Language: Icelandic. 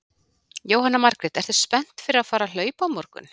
Jóhanna Margrét: Ertu spennt fyrir að fara að hlaupa á morgun?